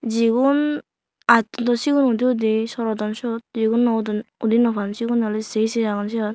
jigun aj hindu sigun udi udi surodon sot jigun naw udon udi naw pan sigune awle se se agon siot.